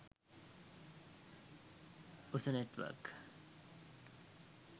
usa network